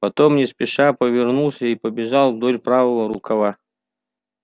потом не спеша повернулся и побежал вдоль правого рукава